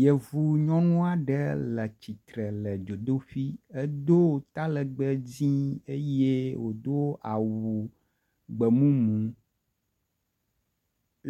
Yevu nyɔnu aɖe le tsitre le dzodoƒi edo talegbe dzi eye wodo awu gbemumu.